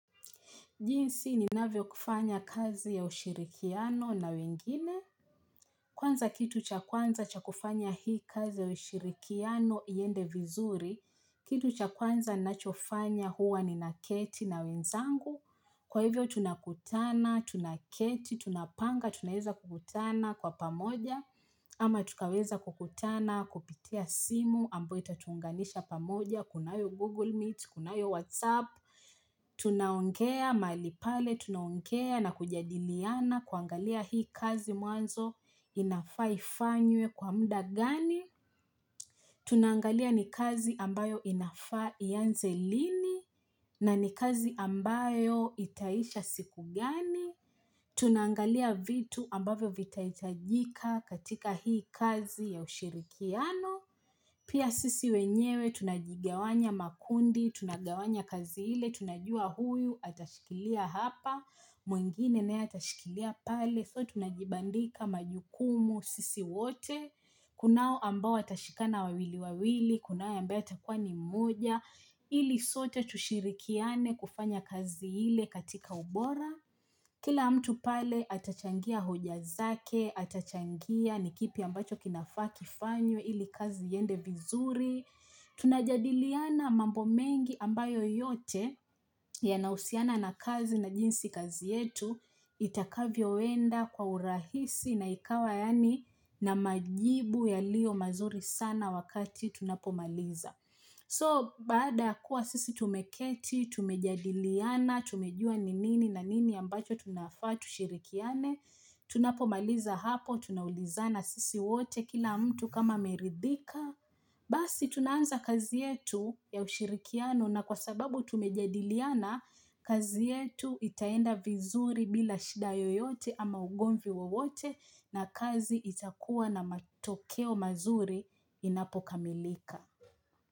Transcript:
Jinsi ninavyokufanya kazi ya ushirikiano na wengine. Kwanza kitu cha kwanza cha kufanya hii kazi ya ushirikiano iende vizuri. Kitu cha kwanza nachofanya huwa ninaketi na wenzangu. Kwa hivyo tunakutana, tunaketi, tunapanga, tunaweza kukutana kwa pamoja. Ama tukaweza kukutana, kupitia simu, ambayo itatuunganisha pamoja, kunayo Google Meet, kunayo Whatsapp. Tunaongea mahali pale, tunaongea na kujadiliana kuangalia hii kazi mwanzo inafaa ifanywe kwa muda gani Tunaangalia ni kazi ambayo inafaa ianze lini na ni kazi ambayo itaisha siku gani Tunaangalia vitu ambavyo vitahitajika katika hii kazi ya ushirikiano Pia sisi wenyewe tunajigawanya makundi, tunagawanya kazi ile, tunajua huyu atashikilia hapa, mwingine naye atashikilia pale, so tunajibandika majukumu sisi wote, kunao ambao watashikana wawili wawili, kunao ambao atakuwa ni mmoja, ili sote tushirikiane kufanya kazi ile katika ubora. Kila mtu pale atachangia hoja zake, atachangia ni kipi ambacho kinafaa kifanywe ili kazi iende vizuri Tunajadiliana mambo mengi ambayo yote yanahusiana na kazi na jinsi kazi yetu Itakavyoenda kwa urahisi na ikawa yaani na majibu yalio mazuri sana wakati tunapomaliza So baada kuwa sisi tumeketi, tumejadiliana, tumejua ni nini na nini ambacho tunafaa tushirikiane, tunapomaliza hapo, tunaulizana sisi wote kila mtu kama ameridhika, basi tunaanza kazi yetu ya ushirikiano na kwa sababu tumejadiliana, kazi yetu itaenda vizuri bila shida yoyote ama ugomvi wote na kazi itakuwa na matokeo mazuri inapokamilika.